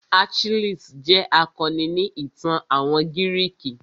Achilles jẹ́ akọni ni ìtàn àwọn gírìkì.